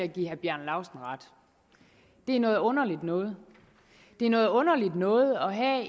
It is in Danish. give herre bjarne laustsen ret det er noget underligt noget det er noget underligt noget at have